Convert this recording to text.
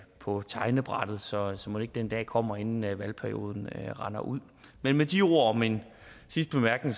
på tegnebrættet så så mon ikke den dag kommer inden valgperioden rinder ud men med de ord hvor min sidste bemærkning